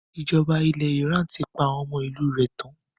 Ìjọba ilẹ̀ Iran ti pa àwọn ọmọ ìlú rẹ̀ tán.